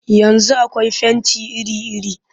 Yanzu akwai fenti iri-iri